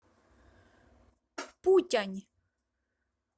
путянь